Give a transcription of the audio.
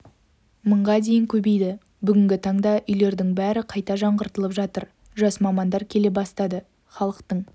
мыңға дейін көбейді бүгінгі таңда үйлердің бәрі қайта жаңғыртылып жатыр жас мамандар келе бастады халықтың